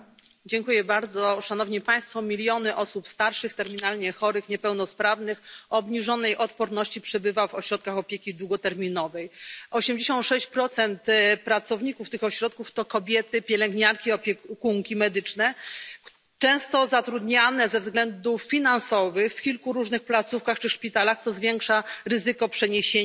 Panie Przewodniczący! Miliony osób starszych, terminalnie chorych, niepełnosprawnych, o obniżonej odporności przebywa w ośrodkach opieki długoterminowej. 86 pracowników tych ośrodków to kobiety pielęgniarki, opiekunki medyczne często zatrudniane ze względów finansowych w kilku różnych placówkach czy szpitalach, co zwiększa ryzyko przeniesienia